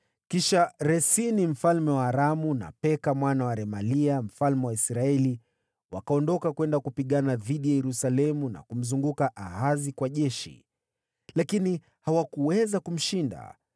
Kisha Resini mfalme wa Aramu na Peka mwana wa Remalia mfalme wa Israeli wakaondoka kwenda kupigana dhidi ya Yerusalemu na kumzunguka Ahazi kwa jeshi, lakini hawakuweza kumshinda.